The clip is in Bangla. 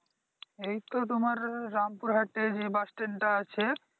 এইতো তোমার রামপুর হাটে যে bus stand টা আছে